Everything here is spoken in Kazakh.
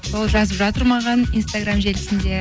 сол жазып жатыр маған инстаграм желісінде